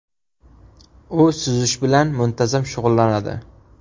U suzish bilan muntazam shug‘ullanadi.